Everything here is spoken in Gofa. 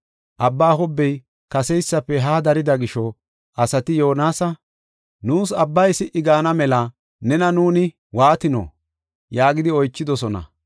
Abbaa hobbey kaseysafe haa darida gisho asati Yoonasa, “Nuus abbay si77i gaana mela nena nuuni waatino?” yaagidi oychidosona.